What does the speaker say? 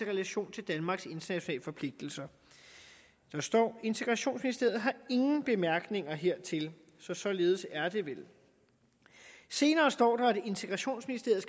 relation til danmarks internationale forpligtelser der står integrationsministeriet har ingen bemærkninger hertil så således er det vel senere står der at integrationsministeriet